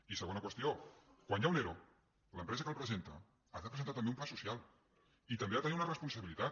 i segona qüestió quan hi ha un ero l’empresa que el presenta ha de presentar també un pla social i també ha de tenir una responsabilitat